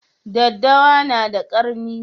Daddawa na da ƙarni